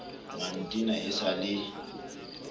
wa ntena e sa le